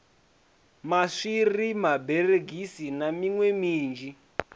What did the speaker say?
maswiri maberegisi na miṋwe minzhi